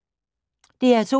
DR2